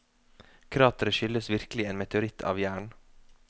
Krateret skyldes virkelig en meteoritt av jern.